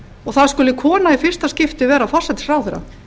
og það skuli kona í fyrsta skipti vera forsætisráðherra